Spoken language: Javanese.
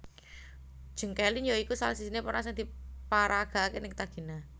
Jeng Kelin ya iku salah sijine peran sing diparagakake Nyctagina